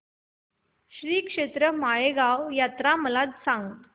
श्रीक्षेत्र माळेगाव यात्रा मला सांग